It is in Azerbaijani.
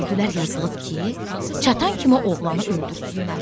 Gördülər yazılıb ki, çatan kimi oğlanı öldürsünlər.